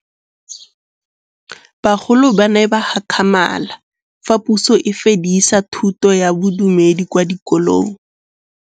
Bagolo ba ne ba gakgamala fa Pusô e fedisa thutô ya Bodumedi kwa dikolong.